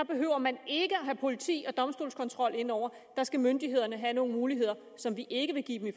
behøver man ikke at have politi og domstolskontrol indover der skal myndighederne have nogle muligheder som vi ikke vil give dem i